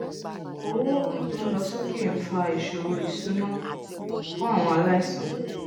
owó òògun tó n lọ sókè n fa ìṣòro ìṣúná fún àwọn aláìsàn